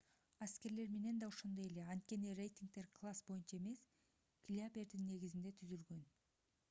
аскерлер менен да ошондой эле анткени рейтингдер класс боюнча эмес килябердин негизинде түзүлгөн